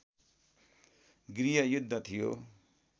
गृहयुद्ध थियो